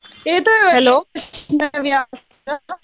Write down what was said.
येतोय वैष्णवी आवाज तुला?